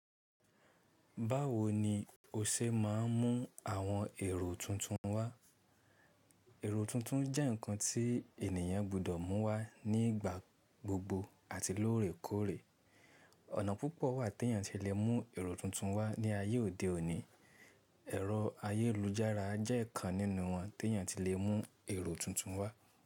Báwo ni o ṣe máa ń mú àwọn èrò tuntun wá? Èrò tuntun jẹ́ nǹkan tí ènìyàn gbọdọ̀ mú wá nígbà gbogbo àti lóòrèkóòrè. Ọ̀nà púpọ̀ wà tí ènìyàn ti lè mú èrò tuntun wá ní ayé òde òní. Ẹ̀rọ ayélujára jẹ́ ọ̀kan nínú wọn tí ènìyàn ti lè mú èrò tuntun wá.